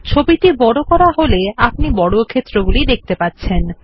ছবিটি বড় করা হলে আপনি ছোট বর্গক্ষেত্রগুলি দেখতে পাচ্ছেন